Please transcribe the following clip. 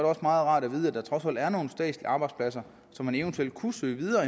også meget rart at vide at der trods alt er nogle statslige arbejdspladser som man eventuelt kunne søge videre